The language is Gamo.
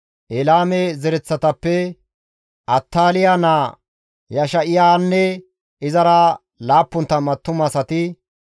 Elaame zereththatappe Attaaliya naa Yesha7iyanne izara 70 attumasati,